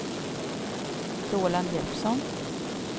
Roland Jeppsson